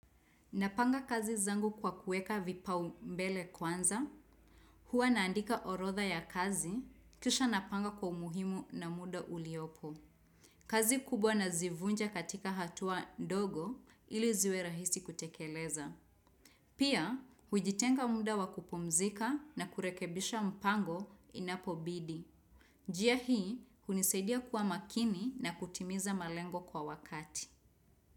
Napanga kazi zangu kwa kuweka vipaumbele kwanza, huwa naandika orodha ya kazi, kisha napanga kwa umuhimu na muda uliopo. Kazi kubwa nazivunja katika hatua ndogo ili ziwe rahisi kutekeleza. Pia, hujitenga muda wa kupumzika na kurekebisha mpango inapobidi. Njia hii, hunisaidia kuwa makini na kutimiza malengo kwa wakati.